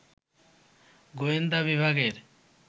গোয়েন্দা বিভাগের